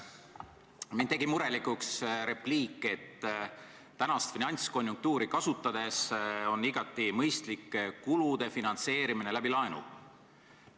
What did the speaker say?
Mind tegi murelikuks repliik, et praegust finantskonjunktuuri kasutades on igati mõistlik kulude finantseerimine läbi laenu.